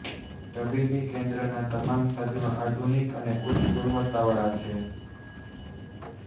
તબીબી કેન્દ્રના તમામ સાધનો આધુનિક અને ઉચ્ચ ગુણવત્તાવાળા છે